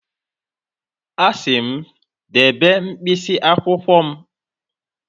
Asị m, debe mkpịsị akwụkwọ m